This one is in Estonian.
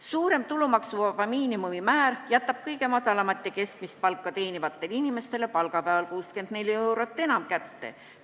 Suurem tulumaksuvaba miinimumi määr jätab kõige madalamat ja keskmist palka teenivatele inimestele igal palgapäeval 64 eurot enam kätte.